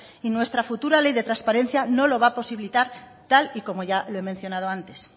y nuestra futura ley de transparencia no lo va a posibilitar tal y como ya lo he mencionado antes